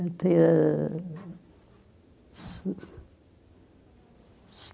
Até... se